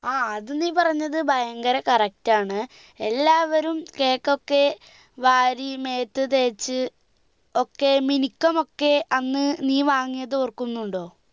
ആ അതു നീ പറഞ്ഞത് ഭയങ്കര correct ആണ് എല്ലാവരും cake ഒക്കെ വാരി മേത്തു തേച്ച് ഒക്കെ മിനിക്കും ഒക്കെ അന്ന് നീ വാങ്ങിയത് ഓർക്കുന്നുണ്ടോ